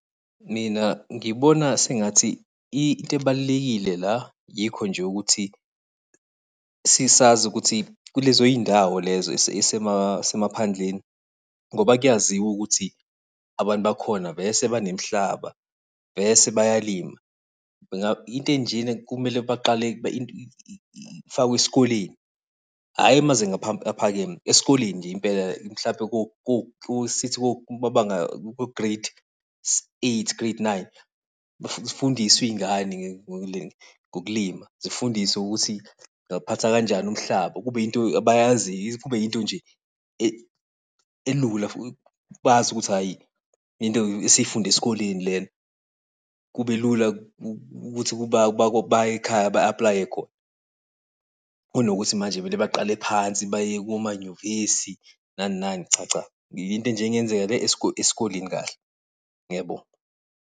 Mina ngibona sengathi into ebalulekile la, yikho nje ukuthi, sazi ukuthi kulezo zindawo lezo ey'semaphandleni, ngoba kuyaziwa ukuthi abantu bakhona vese banemihlaba, vese bayalima . Into enjena kumele baqale ifakwe esikoleni, hhayi amazinga aphakeme, esikoleni nje impela, mhlampe kumabanga ko-grade eight, grade nine. Zifundiswe iy'ngane ngokulima, zifundiswe ukuthi ingawuphatha kanjani umhlaba, kube yinto abayaziyo kube yinto nje elula . Bazi ukuthi hhayi into esifunde esikoleni lena, kube lula ukuthi baye ekhaya ba-aplaye khona. Kunokuthi manje baqale phansi baye komanyuvesi, nani nani cha cha. Into nje engenzeka le esikoleni kahle. Ngiyabonga.